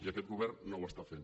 i aquest govern no ho està fent